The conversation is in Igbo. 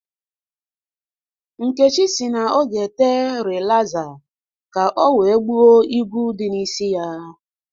Nkechi sị na ọ ga-ete rịlaza ka o wee gbuo igwu dị n'isi ya